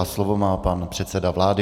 A slovo má pan předseda vlády.